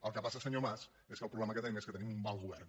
el que passa senyor mas és que el problema que tenim és que tenim un mal govern